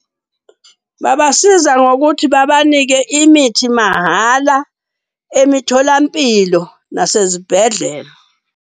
Babasiza ngokuthi babanike imithi mahhala emitholampilo nasezibhedlela.